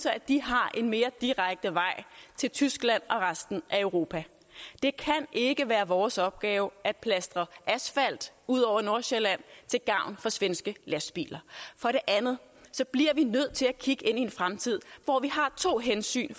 at de har en mere direkte vej til tyskland og resten af europa det kan ikke være vores opgave at plastre asfalt ud over nordsjælland til gavn for svenske lastbiler for det andet bliver vi nødt til at kigge ind i en fremtid hvor vi har to hensyn i